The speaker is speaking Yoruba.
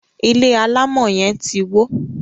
ilé alamò yen tí wọ.